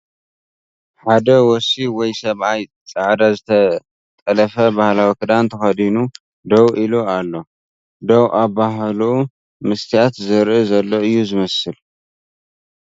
ሓደ ወሲ ወይ ሰብኣይ ፃዕዳ ዝተጠለፈ ባህላዊ ክዳን ተኸዲኑ ደው ኢሉ ኣሎ ደው ኣባሓሕልኡ መስትረሠያት ዝሪኢ ዘሎ እዩ ዝመስል ።